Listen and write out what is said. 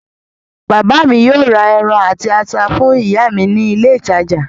Bàbá mi yóò ra ẹran àti ata fún ìyá mi ní ilé-ìtajà.